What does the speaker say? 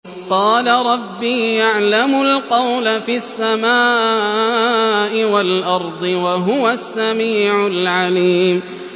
قَالَ رَبِّي يَعْلَمُ الْقَوْلَ فِي السَّمَاءِ وَالْأَرْضِ ۖ وَهُوَ السَّمِيعُ الْعَلِيمُ